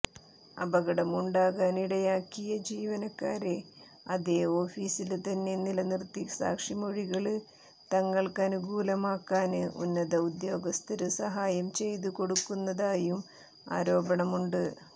അപകടം ഉണ്ടാകാനിടയാക്കിയ ജീവനക്കാരെ അതേ ഓഫിസില് തന്നെ നിലനിര്ത്തി സാക്ഷിമൊഴികള് തങ്ങള്ക്കനുകൂലമാക്കാന് ഉന്നത ഉദ്യോഗസ്ഥര് സഹായം ചെയ്തു കൊടുക്കുന്നതായും ആരോപണമുണ്ട്